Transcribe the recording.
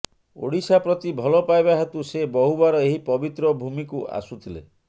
ଓଡ଼ିଶା ପ୍ରତି ଭଲପାଇବା ହେତୁ ସେ ବହୁବାର ଏହି ପବିତ୍ର ଭୂମିକୁ ଆସୁଥିଲେ